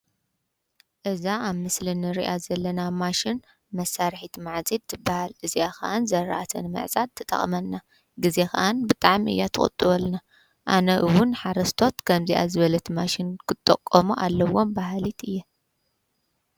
እዛ ኣብ ምስሊ እንርእያ ዘለና ማሽን መሳርሒት ማዕጺድ ትብሃል ፤እዚኣ ከዓ ንዝራእቲ ምዕጻድ ትጠቅመና፤ ግዜ ከዓ ብጣሚ እያ ትቁጥበልና ፤ኣነ ዉን ሓረስቶት ከምዚኣ ዝብለተ ማሽን ክጥቀሙ ኣለዎም በሃሊት እየ።